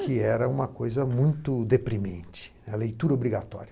Que era uma coisa muito deprimente, a leitura obrigatória.